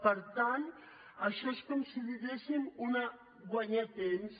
per tant això és com si diguéssim guanyar temps